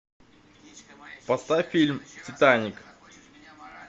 поставь фильм титаник